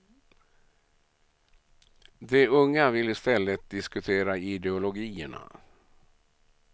De unga vill i stället diskutera ideologierna.